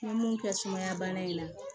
An bɛ mun kɛ sumaya bana in na